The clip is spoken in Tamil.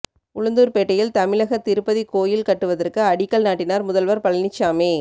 உளுந்தூர்பேட்டையில் தமிழக திருப்பதி கோயில் கட்டுவதற்கு அடிக்கல் நாட்டினார் முதல்வர் பழனிசாமி